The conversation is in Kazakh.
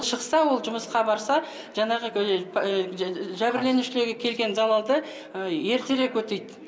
шықса ол жұмысқа барса жаңағы жәбірленушілерге келген залалды ертерек өтейді